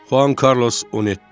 Juan Carlos 17.